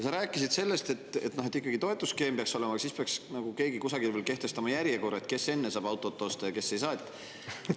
Sa rääkisid sellest, et ikkagi peaks toetusskeem olema, aga siis peaks keegi kusagil kehtestama ka järjekorra, kes saab enne autot osta ja kes ei saa.